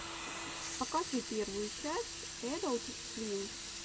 покажи первую часть эдалт свим